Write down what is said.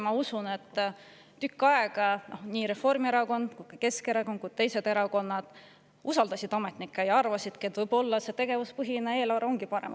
Ma usun, et tükk aega nii Reformierakond kui ka Keskerakond, aga ka teised erakonnad usaldasid ametnikke ning arvasidki, et võib-olla ongi see tegevuspõhine eelarve parem.